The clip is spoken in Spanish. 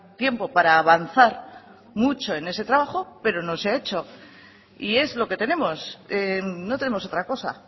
tiempo para avanzar mucho en ese trabajo pero no se ha hecho y es lo que tenemos no tenemos otra cosa